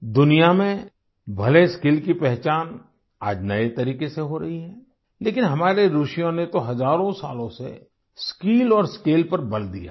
दुनिया में भले स्किल की पहचान आज नए तरीके से हो रही है लेकिन हमारे ऋषियों ने तो हजारों सालों से स्किल और स्केल पर बल दिया है